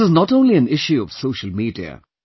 This is not only an issue of social media